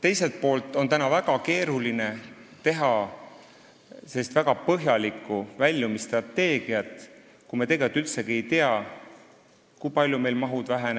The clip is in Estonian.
Teiselt poolt on keeruline teha väga põhjalikku väljumisstrateegiat, kui me tegelikult üldsegi ei tea, kui palju meil toetuste maht